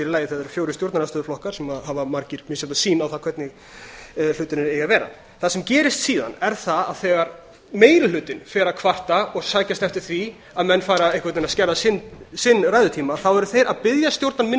lagi þegar það eru fjórir stjórnarandstöðuflokkar sem hafa margir misjafna sýn á það hvernig hlutirnir eiga að vera það sem gerist síðan er að þegar meiri hlutinn fer að kvarta og sækjast eftir því að menn fari einhvern veginn að skerða sinn ræðutíma eru þeir að biðja minni